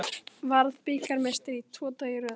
Varð bikarmeistari tvo daga í röð